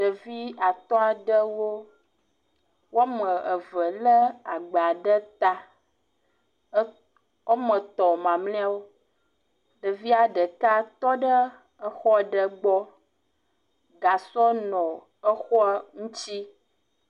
Ɖevi atɔ̃ aɖewo. Woame eve lé agba ɖe ta. ɛ Woame tɔ̃ mamlɛawo, ɖevia ɖeka tɔ ɖe exɔ aɖe gbɔ. Gasɔ nɔ exɔa ŋutsi.